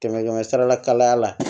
Kɛmɛ kɛmɛ sarala kalaya la